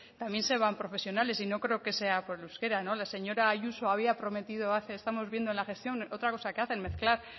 también se van profesionales y no creo que sea por el euskera la señora ayuso había prometido hace estamos viendo en la gestión otra cosa que hacen mezclar